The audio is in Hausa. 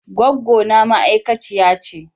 Goggona ma'aikaciya ce.